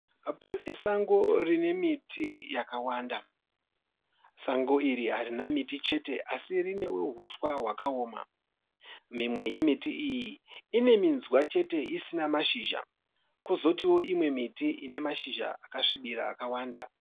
Pane sango rine miti yakawanda. Sango iri harina miti chete asi rinewo huswa hwakaoma. Mimwe yemiti iyi ine minzwa chete isina mashizha. Kozotiwo imwe miti ine mashizha akasvibira akawanda.